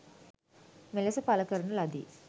මෙලෙස පල කරන ලදි.